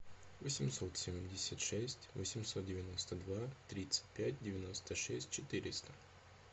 восемьсот семьдесят шесть восемьсот девяносто два тридцать пять девяносто шесть четыреста